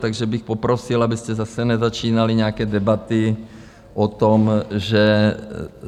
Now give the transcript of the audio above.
Takže bych poprosil, abyste zase nezačínali nějaké debaty o tom, že...